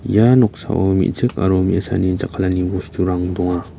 ia noksao me·chik aro me·asani jakkalani bosturang donga.